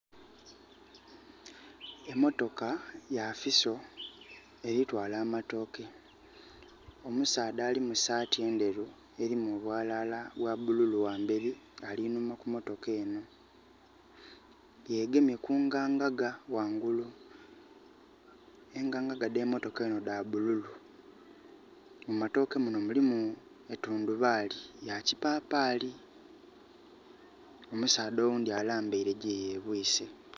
Emotoka ya Fuso, eli twaala amatooke. Omusaadha ali mu saati endheru elimu obwalaala bwa bululu ghamberi ali inhuma ku motoka enho. Yegemye kungangaga ghangulu. Engangaga dhe motoka enho dha bululu. Mu matooke munho mulimu etundubaali ya kipapaali. Omusaadha oghundhi alambaile gye yebwiise.